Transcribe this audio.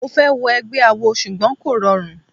Mo fẹ́ wọ egbẹ́ awo ṣùgbọ́n kò rọrùn.